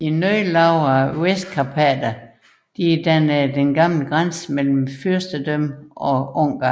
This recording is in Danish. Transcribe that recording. De noget lavere Vestkarpater dannede den gamle grænse mellem fyrstedømmet og Ungarn